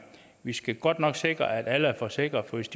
vi skal godt nok sikre at alle er forsikret for hvis